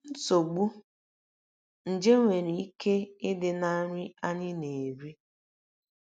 NSOGBU: Nje nwere ike ịdị ná nri anyị na - eri - eri.